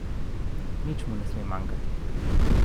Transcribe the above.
Nič mu ne sme manjkati.